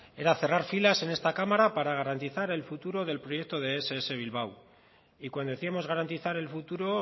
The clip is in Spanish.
era cerrar filas en esta cámara para garantizar el futuro del proyecto de ess bilbao y cuando decíamos garantizar el futuro